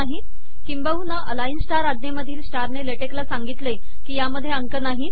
किंबहुना अलाइन स्टार आज्ञेमधील स्टारने ले टेक ला सांगितले की यात अंक नाहीत